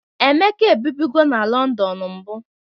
Emeka ebibụgo na Lọndọn mbụ.